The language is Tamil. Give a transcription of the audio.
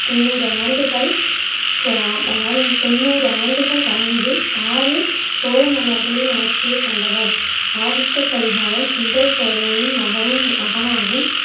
தொண்ணூறு ஆண்டுகள் தொண்ணூறு ஆண்டுகள் வாழ்ந்து ஆறு சோழ மன்னர்களின் ஆட்சியைக் கண்டவர். ஆதித்த கரிகாலன் சுந்தர சோழரின் மகனும் மகனாகவும்,